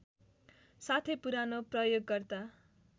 साथै पुरानो प्रयोगकर्ता